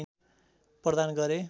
प्रदान गरे